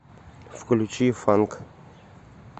включи фанк